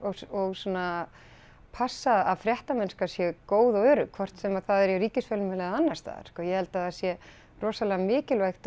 og passa að fréttamennnska sé góð og örugg hvort sem það er í ríkisfjölmiðli eða annars staðar ég held að það sé rosalega mikilvægt og